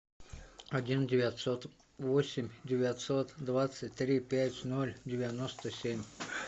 один девятьсот восемь девятьсот двадцать три пять ноль девяносто семь